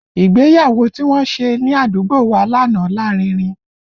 Ìgbéyàwó tí wọ́n ṣe ní àdúgbò wa lánàá lárinrin